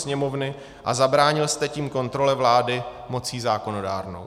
Sněmovny a zabránil jste tím kontrole vlády mocí zákonodárnou.